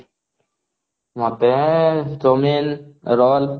ମତେ chowmein, roll